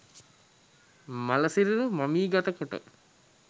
මළ සිරුරු මමිගත කොට